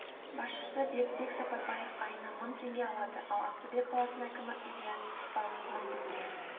басшысы бердібек сапарбаев айына мың теңге алады ал ақтөбе қаласының әкімі ильяс іспанов мың теңге